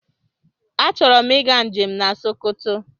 Achọrọ m ịga njem na Sokoto.